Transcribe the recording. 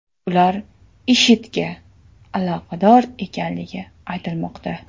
Ular IShIDga aloqador ekanligi aytilmoqda.